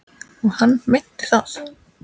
Og hann meinti það.